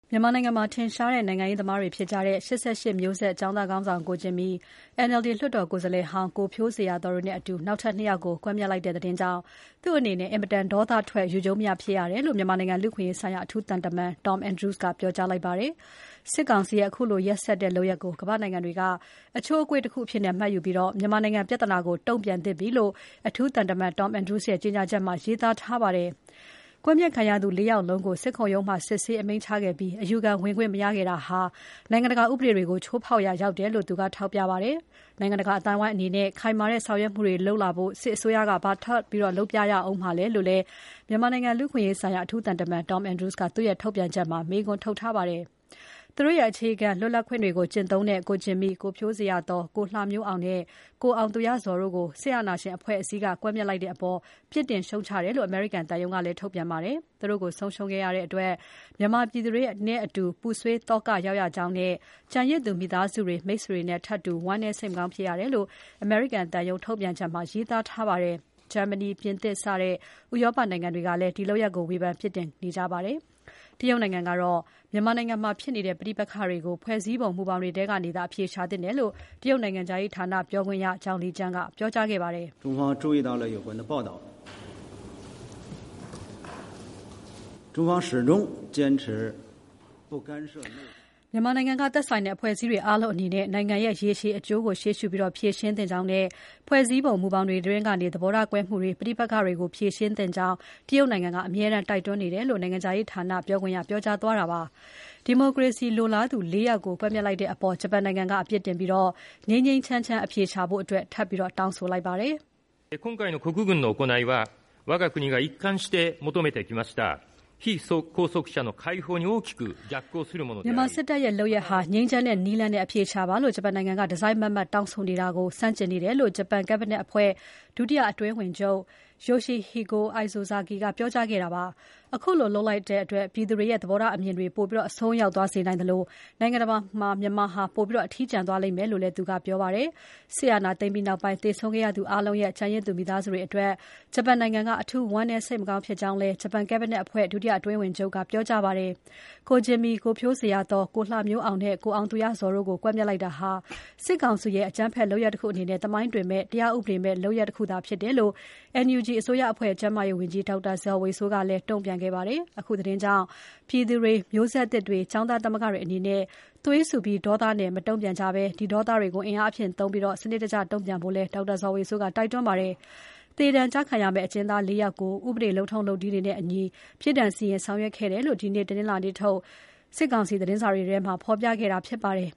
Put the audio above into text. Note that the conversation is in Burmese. မြန်မာနိုင်ငံမှာထင်ရှားတဲ့နိုင်ငံရေးသမားတွေဖြစ်ကြတဲ့ ၈၈ မျိုးဆက်ကျောင်းသားခေါင်းဆောင် ကိုဂျင်မီ၊ NLD လွှတ်တော်ကိုယ်စားလှယ်ဟောင်း ကိုဖြိုးဇေယျာသော် တို့နဲ့အတူ နောက်ထပ် ၂ ယောက်ကို ကွပ်မျက်လိုက်တဲ့သတင်းကြောင့် သူ့အနေနဲ့ အင်မတန် ဒေါသထွက်၊ ယူကျုံးမရဖြစ်ရတယ်လို့ မြန်မာနိုင်ငံလူ့အခွင့်အရေးဆိုင်ရာ အထူးသံတမန် Tom Andrews ကပြောကြားပါတယ်။ စစ်ကောင်စီရဲ့ အခုလို ရက်စက်တဲ့လုပ်ရပ်ကို ကမ္ဘာ့နိုင်ငံတွေက အချိုးအကွေ့တခုအဖြစ်မှတ်ယူပြီး မြန်မာနိုင်ငံပြဿနာကို တုံ့ပြန်သင့်ပြီလို့ အထူးသံတမန် Tom Andrews ရဲ့ ကြေညာချက်မှာ ရေးသားထားပါတယ်။ ကွပ်မျက်ခံရသူ ၄ ယောက်လုံးကို စစ်ခုံရုံးမှာ စစ်ဆေး အမိန့်ချခဲ့ပြီး အယူခံဝင်ခွင့် မရခဲ့တာဟာ နိုင်ငံတကာဥပဒေတွေကို ချိုးဖောက်ရာရောက်တယ်လို့ သူကထောက်ပြပါတယ်။ နိုင်ငံတကာ အသိုင်းအဝိုင်းအနေနဲ့ ခိုင်မာတဲ့ဆောင်ရွက်မှုတွေလုပ် လာဖို့ စစ်အစိုးရက ဘာထပ်လုပ်ပြရဦးမှာလဲလု့ိလည်း မြန်မာနိုင်ငံလူ့အခွင့်အရေးဆိုင်ရာ အထူးသံတမန် Tom Andrews ကသူ့ထုတ်ပြန်ချက်မှာ မေးခွန်းထုတ်ထားပါတယ်။ သူတို့ရဲ့ အခြေခံ လွတ်လပ်ခွင့်တွေကို ကျင့်သုံးတဲ့ ကိုဂျင်မီ၊ ကိုဖြိုးဇေ ယျာသော်၊ ကိုလှမျိုးအောင်နဲ့ ကိုအောင်သူရဇော်တို့ကို စစ်အာဏာရှင်အဖွဲ့အစည်းက ကွပ်မျက်လိုက်တဲ့အပေါ် ပြစ်တင် ရှုတ်ချတယ်လို့ အမေရိကန်သံရုံးကလည်း ထုတ်ပြန်ပါတယ်။ သူတို့ကို ဆုံးရှုံးရတဲ့အတွက် မြန်မာပြည်သူတွေနဲ့တူ ပူဆွေးသောကရောက်ရကြောင်းနဲ့ ကျန်ရစ်သူမိသားစုတွေ၊ မိတ်ဆွေတွေနဲ့ ထပ်တူ ဝမ်းနည်း စိတ်မကောင်းဖြစ်ရတယ်လို့ အမေရိကန်သံရုံး ထုတ်ပြန်ချက်မှာ ရေးသားထားပါတယ်။ တရုတ်နိုင်ငံကတော့ မြန်မာနိုင်ငံမှာဖြစ်နေတဲ့ ပဋိပက္ခကို ဖွဲ့စည်းပုံ မူဘောင်တွေထဲကသာ အဖြေရှာသင့်တယ်လို့ တရုတ်နိုင်ငံခြားရေးဌာနပြောခွင့်ရ Zhao Lijian ကပြောကြားခဲ့ပါတယ်။ မြန်မာနိုင်ငံက သက်ဆိုင်တဲ့အဖွဲ့အစည်းတွေအားလုံးအနေနဲ့ နိုင်ငံရဲ့ ရေရှည်အကျိုးကို ရှေ့ရှုပြီး ဖြေရှင်းသင့်ကြောင်းနဲ့ ဖွဲ့စည်းပုံ မူဘောင်တွေအတွင်းကနေ သဘောထားကွဲမှုတွေ၊ ပဋိပက္ခတွေကို ဖြေရှင်းသင့်ကြောင်း တရုတ်နိုင်ငံက အမြဲတိုက်တွန်းနေတယ်လို့ နိုင်ငံခြားရေးဌာနာ ပြောခွင့်ရက ပြောကြားသွားတာဖြစ်ပါတယ်။ ဒီမိုကရေစီရေးလိုလားသူ ၄ ယောက်ကို ကွပ်မျက်လိုက်တဲ့အပေါ် ဂျပန်နိုင်ငံက အပြစ်တင်ပြီး ငြိမ်းငြိမ်းချမ်းချမ်း အဖြေရှာဖို့ ထပ်ပြီးတောင်းဆိုလိုက်ပါတယ်။ မြန်မာစစ်တပ်ရဲ့လုပ်ရပ်ဟာ ငြိမ်းချမ်းတဲ့နည်းလမ်းနဲ့ အဖြေရှာပါလို့ ဂျပန်နိုင်ငံက တစိုက်မတ်မတ် တောင်းဆိုနေတာနဲ့ ဆန့်ကျင်နေတယ်လို့ ဂျပန် Cabinet အဖွဲ့ဒုတိယအတွင်းဝန်ချုပ် Yoshihiko Isozaki ကပြောကြားခဲ့တာပါ။ အခုလိုလုပ် လိုက်တဲ့အတွက် ပြည်သူတွေရဲ့ သဘောထားအမြင်တွေ ပိုပြီးအစွန်းရောက်သွားစေနိုင်သလို နိုင်ငံတကာမှာ မြန်မာဟာ ပိုပြီး အထီးကျန်သွားလိမ့်မယ်လို့လည်း သူကပြောပါတယ်။ စစ်အာဏာသိမ်းပြီးနောက်ပိုင်း သေဆုံးခဲ့ရသူအားလုံးရဲ့ ကျန်ရစ်သူမိသားစုတွေအတွက် ဂျပန်နိုင်ငံက အထူးဝမ်းနည်း စိတ်မကောင်းဖြစ်ကြောင်းလည်း ဂျပန် Cabinet အဖွဲ့ ဒုတိယအတွင်းဝန်ချုပ် Yoshihiko Isozaki ကပြောကြားခဲ့ပါတယ်။ ကိုဂျင်မီ၊ ကိုဖြိုးဇေယျာသော်၊ ကိုလှမျိုးအောင်နဲ့ ကိုအောင်သူရဇော်တို့ကို ကွပ်မျက်လိုက်တာဟာ စစ်ကောင်စီရဲ့ အကြမ်းဖက်လုပ်ရပ်တခုအနေနဲ့ သမိုင်းတွင်မယ့် တရားဥပဒေမဲ့ အကြမ်းဖက်လုပ်ရပ်တခုသာဖြစ်တယ်လို့ NUG အစိုးရအဖွဲ့ ကျန်းမာရေးဝန်ကြီး ဒေါက်တာဇော်ဝေစိုးကလည်း တုံ့ပြန်ခဲ့ပါတယ်။ အခုသတင်းကြောင့် ပြည်သူတွေ၊ မျိုးဆက်သစ်တွေ၊ ကျောင်းသားသမဂ္ဂတွေအနေနဲ့ သွေးဆူပြီး ဒေါနဲ့ မတုံ့ပြန်ကြဘဲ ဒီဒေါသတွေကို အင်အားအဖြစ်သုံးပြီး စနစ်တကျ တုံ့ပြန်ဖို့လည်း ဒေါက်တာဇော်ဝေစိုးက တိုက်တွန်းခဲ့ပါတယ်။ သေဒဏ်ကျခံရမယ့် အကျဉ်းသား ၄ ယောက်ကို ဥပဒေလုပ်ထုံးလုပ်နည်းများနဲ့အညီ ပြစ်ဒဏ်စီရင်ဆောင်ရွက်ခဲ့တယ်လို့ ဒီနေ တနင်္လာနေ့ထုတ် စစ်ကောင်စီသတင်းစာတွေထဲမှာ ဖော်ပြခဲ့တာဖြစ်ပါတယ်